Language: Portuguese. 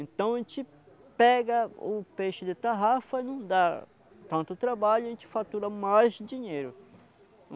Então a gente pega o peixe de tarrafa, não dá tanto trabalho e a gente fatura mais dinheiro.